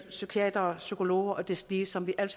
psykiatere psykologer og deslige som vi alle